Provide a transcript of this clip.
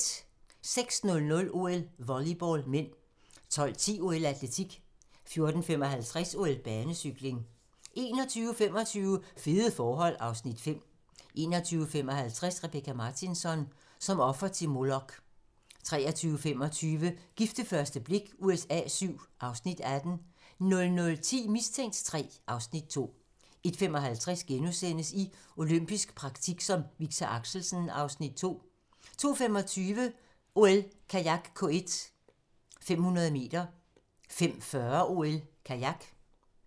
06:00: OL: Volleyball (m) 12:10: OL: Atletik 14:55: OL: Banecykling 21:25: Fede forhold (Afs. 5) 21:55: Rebecka Martinsson: Som offer til Molok 23:25: Gift ved første blik USA VII (Afs. 18) 00:10: Mistænkt III (Afs. 2) 01:55: I olympisk praktik som Victor Axelsen (Afs. 2)* 02:25: OL: Kajak K1, 500m 05:40: OL: Kajak